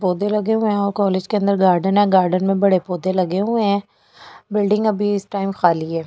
पौधे लगे हुए हैं कॉलेज के अंदर गार्डन है गार्डन में बड़े बड़े पौधे लगे हुए हैं बिल्डिंग अभी इस टाइम खाली है।